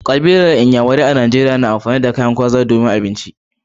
Yan kabilar nyamarai a Najeriya na amfani da gwaza a matsayin mai kauri.